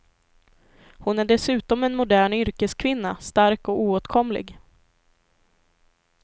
Hon är dessutom en modern yrkeskvinna, stark och oåtkomlig.